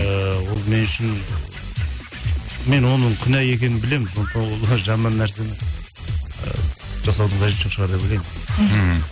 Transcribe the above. ыыы ол мен үшін мен оның күнә екенін білемін сондықтан ол жаман нәрсені ы жасаудың қажеті жоқ шығар деп ойлаймын мхм